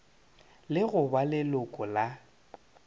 le go ba leloko la